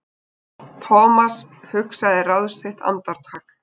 Thomas hugsaði ráð sitt andartak.